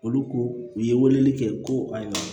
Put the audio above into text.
Olu ko u ye weleli kɛ ko ayi